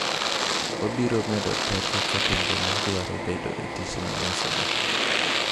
Wabiro medo teko ka pinje ma dwaro bedo e tichno nyisore.